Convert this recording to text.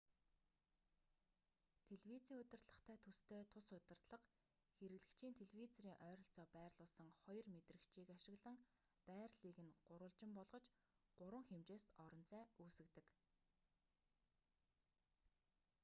телевизийн удирдлагатай төстэй тус удирдлага хэрэглэгчийн телевизорын ойролцоо байрлуулсан хоёр мэдрэгчийг ашиглан байрлалыг нь гурвалжин болгож гурван хэмжээст орон зай үүсгэдэг